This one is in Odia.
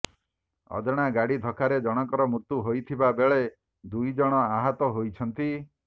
ଅଜଣା ଗାଡି ଧକ୍କାରେ ଜଣଙ୍କର ମୃତ୍ୟୁ ହୋଇଥିବା ବେଳେ ଦୁଇଜଣ ଆହତ ହୋଇଛନ୍ତି